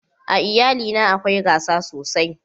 a iyali na akwai gasa sosai